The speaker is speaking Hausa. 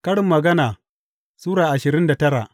Karin Magana Sura ashirin da tara